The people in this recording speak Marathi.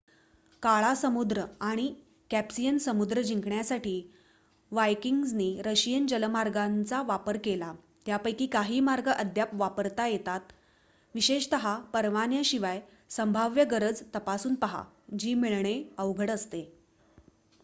काळा समुद्र आणि कॅप्सियन समुद्र जिंकण्यासाठी वायकिंग्जनी रशियन जलमार्गांचा वापर केला यापैकी काही मार्ग अद्याप वापरता येतात विशेष परवान्यांसाठी संभाव्य गरज तपासून पाहा जी मिळणे अवघड असते